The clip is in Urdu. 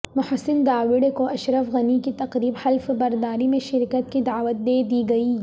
محسن داوڑ کو اشرف غنی کی تقریب حلف برداری میں شرکت کی دعوت دیدی گئی